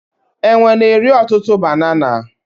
Enwe na-eri ọtụtụ banana.